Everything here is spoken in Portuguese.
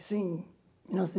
Isso em mil